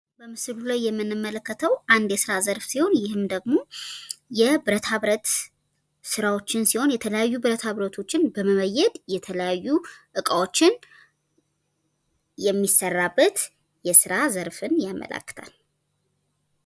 በምስሉ ላይ የምንመለከተዉ አንድ የስራ ዘርፍ ሲሆን ይህም ደግሞ የብረታ ብረት ስራዎችን ሲሆን የተያዩ ብረታ ብረቶችን በመበየድ የተለያዩ እቃዎችን የሚሰራበት የስራ ዘርፍን ያመላክታል።